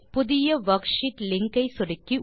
புதிய worksheet link ஐ சொடுக்கி